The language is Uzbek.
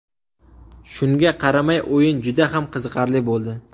Shunga qaramay o‘yin juda ham qiziqarli bo‘ldi.